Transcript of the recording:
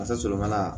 Fasa sɔrɔ mana